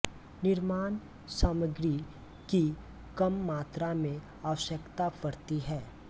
निर्माण सामग्री की कम मात्रा में आवश्यकता पड़ती है